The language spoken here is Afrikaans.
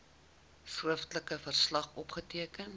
skriftelike verslag opgeteken